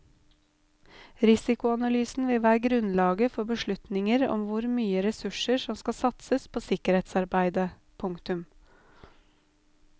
Risikoanalysen vil være grunnlaget for beslutninger om hvor mye ressurser som skal satses på sikkerhetsarbeidet. punktum